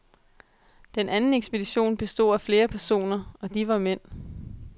Den anden ekspedition bestod af flere personer, og de var mænd.